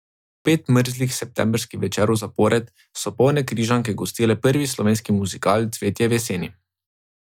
Pet mrzlih septembrskih večerov zapored so polne Križanke gostile prvi slovenski muzikal Cvetje v jeseni.